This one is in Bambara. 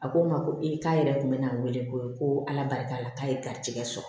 A ko n ma ko ee k'a yɛrɛ kun bɛ n wele ko ala barika la k'a ye garijɛgɛ sɔrɔ